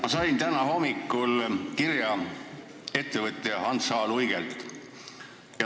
Ma sain täna hommikul kirja ettevõtja Hans H. Luigelt.